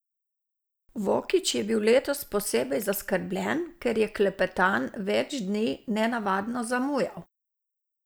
Vokić je bil letos posebej zaskrbljen, ker je Klepetan več dni nenavadno zamujal.